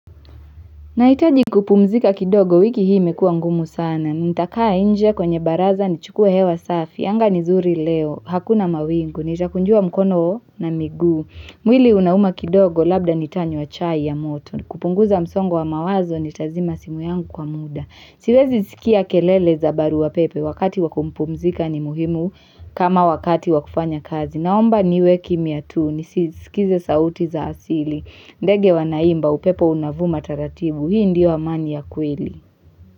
Nahitaji kupumzika kidogo wiki hii imekuwa ngumu sana. Nitakaa inje kwenye baraza ni chukuwe hewa safi. Anga ni zuri leo. Hakuna mawingu. Nitakunjua mkono na miguu. Mwili unauma kidogo labda nitanywa chai ya moto. Kupunguza msongo wa mawazo ni tazima simu yangu kwa muda. Siwezi sikia kelele zabaru wa pepe, wakati waku pumzika ni muhimu kama wakati wakufanya kazi. Naomba niwe kimya tu, nisiskize sauti za asili. Ndege wanaimba, upepo unavuma tarativu. Hii ndiyo amani ya kweli.